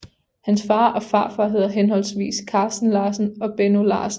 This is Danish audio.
Hans far og farfar hedder henholdsvis Carsten Larsen og Benno Larsen